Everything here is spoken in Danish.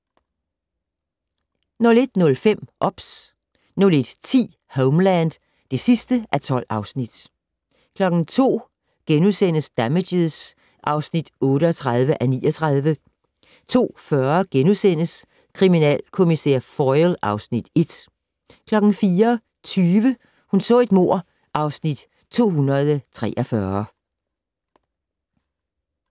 01:05: OBS 01:10: Homeland II (12:12) 02:00: Damages (38:39)* 02:40: Kriminalkommissær Foyle (Afs. 1)* 04:20: Hun så et mord (Afs. 243)